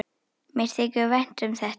Mér þykir vænt um þetta.